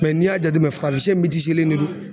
Mɛ n'i y'a jateminɛ farafinsɛ metiselen de do